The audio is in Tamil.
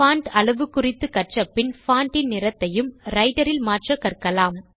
பான்ட் அளவு குறித்து கற்றபின் பான்ட் இன் நிறத்தையும் ரைட்டர் இல் மாற்ற கற்கலாம்